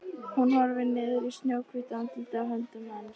Hún horfir niður í snjóhvítt andlitið í höndum hans.